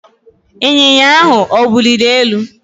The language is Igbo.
Ịnyịnya ahụ ọ wuliri elu?